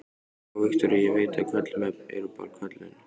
Já, Viktoría, ég veit að köllun er bara köllun.